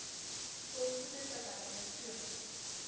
volgende tabelle toon